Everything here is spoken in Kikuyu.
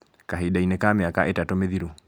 Kahinda inĩ ka mĩaka ĩtatũ mĩthiru